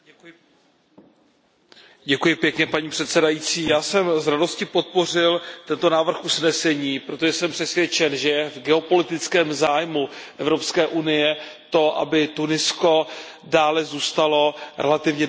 Paní předsedající, já jsem s radostí podpořil tento návrh usnesení, protože jsem přesvědčen, že je v geopolitickém zájmu Evropské unie to, aby Tunisko dále zůstalo relativně demokratickou prosperující zemí.